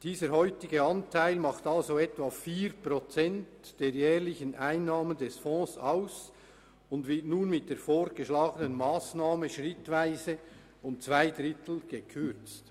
Dieser heutige Anteil macht etwa 4 Prozent der jährlichen Einnahmen des Fonds aus und wird mit der vorgeschlagenen Massnahme schrittweise um zwei Drittel gekürzt.